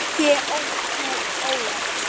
Ekki ertu ólétt?